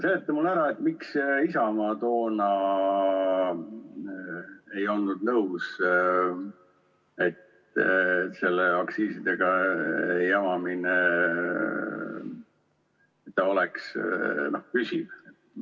Seleta mulle ära, miks Isamaa toona ei olnud nõus lõpetama seda aktsiisidega jamamist, nii et see oleks püsiv?